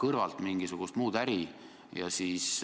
Seega ma ei näe põhjust, miks ma peaksin seda asja venitama.